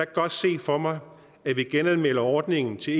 godt se for mig at vi genanmelder ordningen til